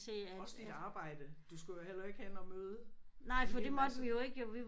Også dit arbejde. Du skulle jo heller ikke hen og møde en hel masse